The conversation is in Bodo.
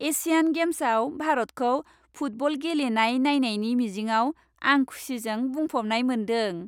एशियान गेम्सआव भारतखौ फुटबल गेलेनाय नायनायनि मिजिंआव आं खुसिजों बुंफबनाय मोनदों।